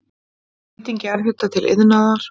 Nýting jarðhita til iðnaðar